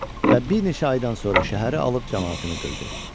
Və bir neçə aydan sonra şəhəri alıb camaatını qırdı.